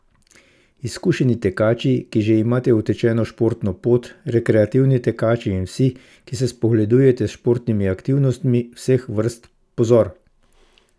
Izkušeni tekači, ki že imate utečeno športno pot, rekreativni tekači in vsi, ki se spogledujete s športnimi aktivnostmi vseh vrst, pozor!